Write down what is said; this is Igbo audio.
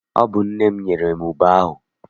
Ọ bụ nne m nyere m ube ahụ.